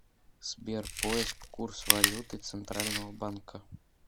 сбер поиск курс валюты центрального банка